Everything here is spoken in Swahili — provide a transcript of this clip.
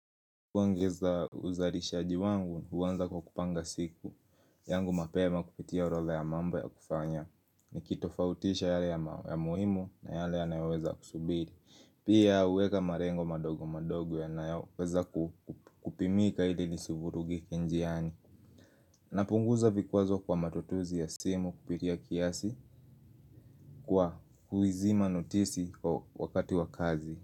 Kuongeza uzalishaji wangu, huanza kwa kupanga siku yangu mapema kupitia orodha ya mambo ya kufanya Nikitofautisha yale ya muhimu na yale yayoweza kusubiri Pia uweka marengo madogo madogo ya naweza kupimika ili nisivurugi kenjiani napunguza vikwazo kwa matatuzi ya simu kupitia kiasi Kwa kuizima notisi kwa wakati wa kazi.